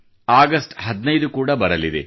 August 15 ಕೂಡಾ ಬರಲಿದೆ